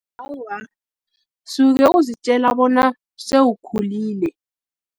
Awa, suke uzitjela bona, sewukhulile.